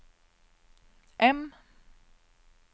M